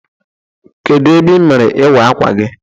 Kedụ ebe ị mere ịwa akwa gi?